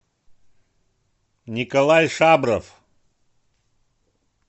николай шабров